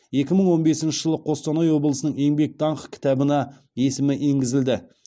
екі мың он бесінші жылы қостанай облысының еңбек даңқы кітабына есімі енгізілді